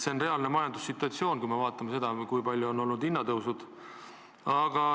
Reaalne majandussituatsioon on selline – vaadakem, kui suured on olnud hinnatõusud.